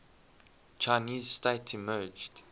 chinese state emerged